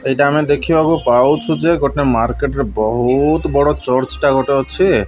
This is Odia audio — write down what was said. ଏଟା ଆମେ ଦେଖି ବାକୁ ପାଉଛୁ ଯେ ମାର୍କେଟ ରେ ବହୁତ ବଡ ଚର୍ଚ୍ଚ ଗୋଟେ ଅଛି।